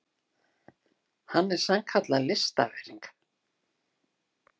Hann er sannkallað listaverk.